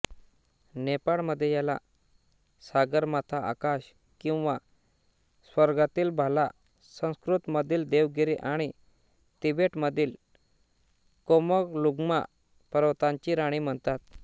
नेपाळमध्ये याला सागरमाथा आकाश किंवा स्वर्गातील भाला संस्कृतमधील देवगिरी आणि तिबेटमधील कोमोलुंग्मा पर्वतांची राणी म्हणतात